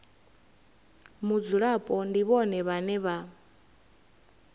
mudzulapo ndi vhone vhane vha